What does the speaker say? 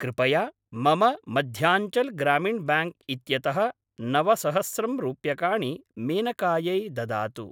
कृपया मम मध्याञ्चल् ग्रामिण् ब्याङ्क् इत्यतः नवसहस्रं रूप्यकाणि मेनकायै ददातु।